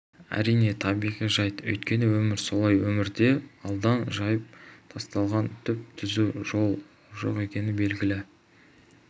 әрине табиғи жайт өйткені өмір солай өмірде алдан жайып тасталған түп-түзу жол жоқ екені белгілі